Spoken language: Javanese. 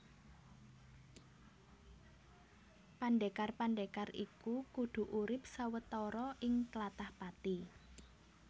Pandhékar pandhékar iku kudu urip sawetara ing tlatah Pati